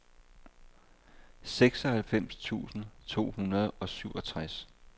seksoghalvfems tusind to hundrede og syvogtres